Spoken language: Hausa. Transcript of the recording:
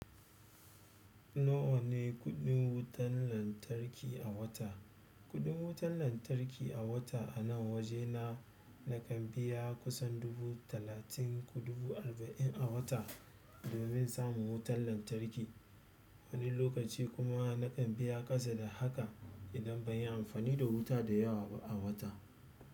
Nawa ne kuɗin wutar lantarki a wata? Kuɗin wutan lantarki a wata anan waje na nakan biya kusan dubu talatin ko dubu arba'in a wata domin in samu wutan lantarki. Wani lokaci kuma na kan biya ƙasa da haka idan ban yi amfani da wuta da yawa ba a wata.